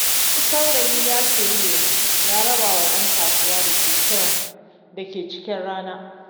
Wani saurayi ya sayi lemo ya rabawa ‘yan kasuwa da ke cikin rana.